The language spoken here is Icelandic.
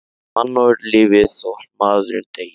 Því mannorðið lifir þótt maðurinn deyi.